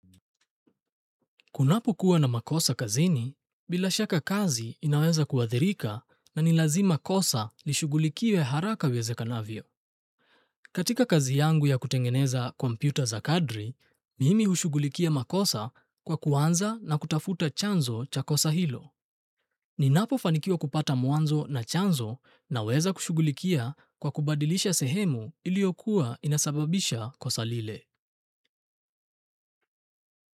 Kunapokuwa na makosa kazini, bila shaka kazi inaweza kuathirika na ni lazima kosa lishughulikiwe haraka iwezekanavyo. Katika kazi yangu ya kutengeneza kompyuta za kadri, mimi hushughulikia makosa kwa kuanza na kutafuta chanzo cha kosa hilo. Ninapofanikiwa kupata mwanzo na chanzo, naweza kushughulikia kwa kubadilisha sehemu iliyokuwa inasababisha kosa lile.